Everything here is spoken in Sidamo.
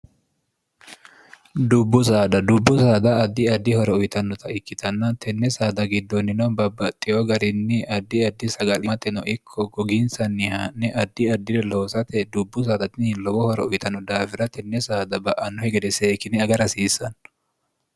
dubbu saada dubbu saada addi addi horo uyitannota ikkitanna tenne saada giddoonnino babbaxxiyo garinni addi addi sagmate no ikko gogiinsanniha'ne addi addire loosate dubbu saadai lowo horo uyitanno daawira tenne saada ba'anno hegede see kine aga rhasiissanno